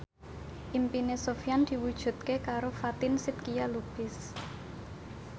impine Sofyan diwujudke karo Fatin Shidqia Lubis